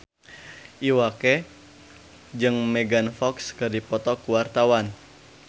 Iwa K jeung Megan Fox keur dipoto ku wartawan